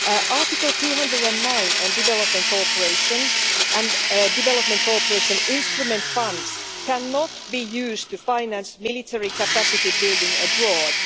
Article 209 on Development Cooperation and Development Cooperation Instrument funds cannot be used to finance military capacity building abroad.